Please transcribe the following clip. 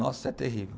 Nossa, é terrível.